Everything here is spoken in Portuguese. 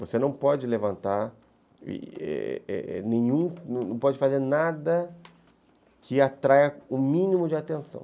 Você não pode levantar, é é, não pode fazer nada que atraia o mínimo de atenção.